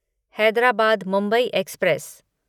Hyderabad Mumbai express